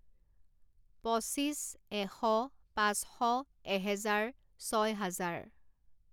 পঁচিছ, এশ, পাচঁশ, এহেজাৰ, ছয় হাজাৰ